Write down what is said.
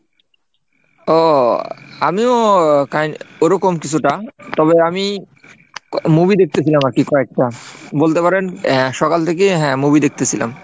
ও আমিও ওরকম কিছুটা, তবে আমি movie দেখতেছিলাম আর কি কয়েকটা বলতে পারেন হ্যাঁ সকাল থেকে হ্যাঁ movie দেখতেছিলাম।